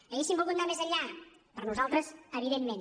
hauríem volgut anar més enllà per nosaltres evidentment